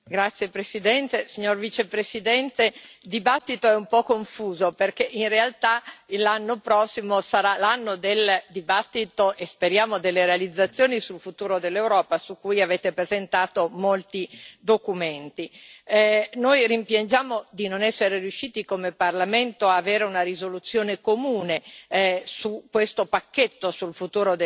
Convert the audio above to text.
Signor Presidente, onorevoli colleghi, signor Vicepresidente, il dibattito è un po' confuso, perché in realtà l'anno prossimo sarà l'anno del dibattito e, speriamo, delle realizzazioni sul futuro dell'Europa, su cui avete presentato molti documenti. Noi rimpiangiamo di non essere riusciti come Parlamento ad avere una risoluzione comune